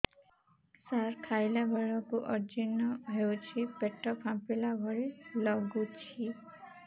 ସାର ଖାଇଲା ବେଳକୁ ଅଜିର୍ଣ ହେଉଛି ପେଟ ଫାମ୍ପିଲା ଭଳି ଲଗୁଛି